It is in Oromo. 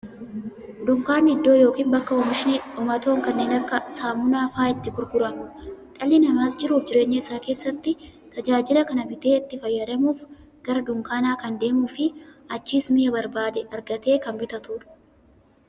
Dunkaanni iddoo yookiin bakka oomishni dhumatoon kanneen akka saamunaa faa'a itti gurguramuudha. Dhalli namaas jiruuf jireenya isaa keessatti, tajaajila kana bitee itti fayyadamuuf, gara dunkaanaa kan deemuufi achiis mi'a barbaade argatee kan bitatuudha.